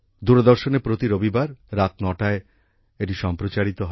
দূরদর্শনে প্রতি রবিবার রাত ৯টায় এটি সম্প্রচারিত হয়